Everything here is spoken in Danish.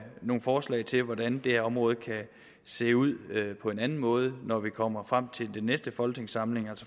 nogle forslag til hvordan det her område kan se ud på en anden måde når vi kommer frem til den næste folketingssamling